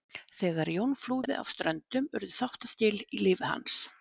Þegar Jón flúði af Ströndum urðu þáttaskil í lífi hans.